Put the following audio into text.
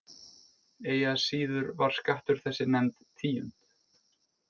Eigi að síður var skattur þessi nefnd tíund.